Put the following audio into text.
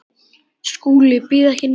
SKÚLI: Ég býð ekki neitt.